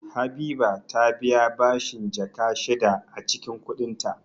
Habiba ta biya bashin Jaka shida a cikin kudinta